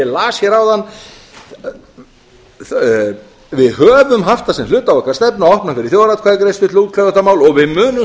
las hér áðan við höfum haft það sem hluta af okkar stefnu að opna fyrir þjóðaratkvæðagreiðslu til að útkljá þetta mál og við munum